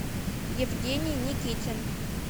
евгений никитин